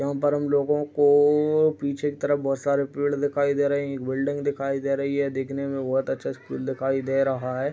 अंदर हम लोगों को पीछे के तरफ बहुत सारे पेड़ दिखाई दे रहे एक बिल्डिंग दिखाई दे रही है दिखने में बहुत अच्छा स्कूल दिखाई दे रहा है |